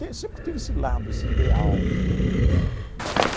Tem sempre tive esse lado, esse ideal.